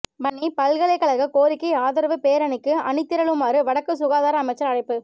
வன்னிப் பல்கலைகழக கோரிக்கை ஆதரவு பேரணிக்கு அணிதிரளுமாறு வடக்கு சுகாதார அமைச்சர் அழைப்பு